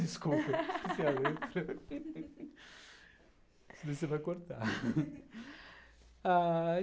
Desculpa, esqueci a letra